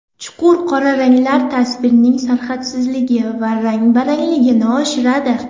Chuqur qora ranglar tasvirning sarhadsizligi va rang-barangligini oshiradi.